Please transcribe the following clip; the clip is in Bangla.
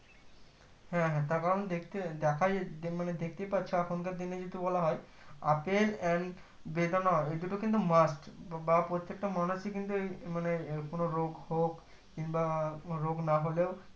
হ্যাঁ হ্যাঁ তার কারণ দেখতে দেখায় দে মানে দেখতে পাচ্ছ এখনকার দিনে যদি বলা হয় আপেল and বেদেনা এই দুটো কিন্তু must বা প্রত্যেকটা মানুষ কিন্তু আহ মানে কোনো রোগ হোক কিংবা রোগ না হলেও